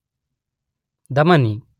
ಧಮನಿ